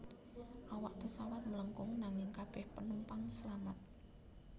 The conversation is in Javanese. Awak pesawat mlengkung nanging kabeh penumpang selamat